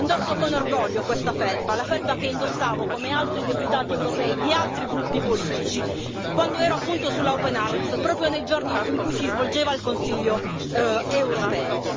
Indosso con orgoglio questa felpa, la felpa che indossavo, come altri deputati europei di altri gruppi politici, quando ero appunto sulla Open Arms, proprio nei giorni in cui si svolgeva il Consiglio europeo.